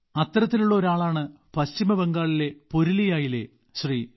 അത്തരത്തിലുള്ള ഒരാളാണ് പശ്ചിമ ബംഗാളിലെ പുരുലിയയിലെ ശ്രീ